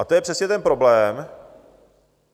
A to je přesně ten problém.